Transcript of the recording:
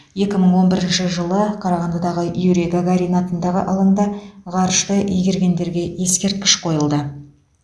екі мың он бірінші жылы қарағандыдағы юрий гагарин атындағы алаңда ғарышты игергендерге ескерткіш қойылды